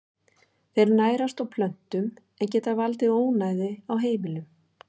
Þeir nærast á plöntum en geta valdið ónæði á heimilum.